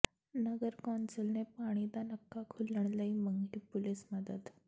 ਨਗਰ council ਨੇ ਪਾਣੀ ਦਾ ਨੱਕਾ ਖੋਲ੍ਹਣ ਲਈ ਮੰਗੀ ਪੁਲੀਸ ਮਦਦ